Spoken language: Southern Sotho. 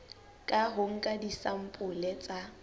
ka ho nka disampole tsa